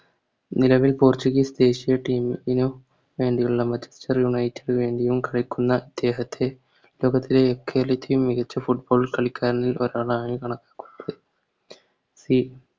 നിലവിൽ Portuguese persia team നിന്നും വേണ്ടിയുള്ള വേണ്ടിയും കളിക്കുന്ന ഇദ്ദേഹത്തെ ലോകത്തെ എക്കാലത്തെയും മികച്ച Football കളിക്കാരൻ എന്ന്